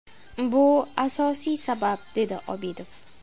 Bu asosiy sabab”, dedi Obidov.